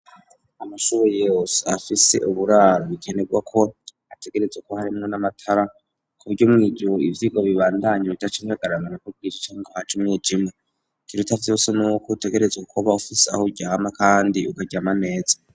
Amashuri yose afise uburaro bikenegwa ko ategerezwa kuba harimwo n'amatara, ku buryo no mw'imwijoro ivyirwa bibandanya bidaca bihagarara ngo nukwo bwije canke ngo haje umwijima. Ikiruta vyose n'uko utegerezwa kuba ufise aho uryama kandi ukaryama neza.